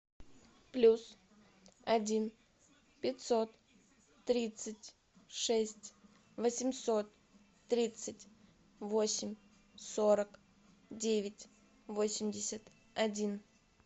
плюс один пятьсот тридцать шесть восемьсот тридцать восемь сорок девять восемьдесят один